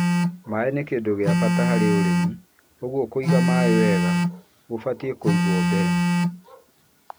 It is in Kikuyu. Maĩ nĩ kĩndũ gĩa bata harĩ ũrĩmi, ũguo kũiga maĩ wega gũbatie kũigwo mbere.